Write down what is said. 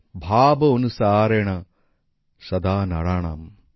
ভাব অনুসারেণ সদা নরাণাম্